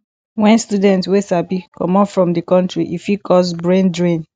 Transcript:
when student wey sabi comot from di country e fit cause brain drain